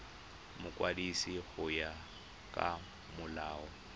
mokwadisi go ya ka molao